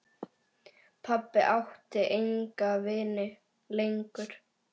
Pabbi átti enga vini lengur.